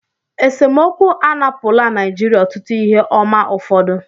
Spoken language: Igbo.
Esemokwu anapụla Naijiria ọtụtụ ihe ọma ụfọdụ